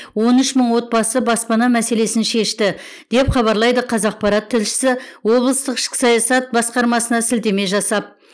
он үш мың отбасы баспана мәселесін шешті деп хабарлайды қазақпарат тілшісі облыстық ішкі саясат басқармасына сілтеме жасап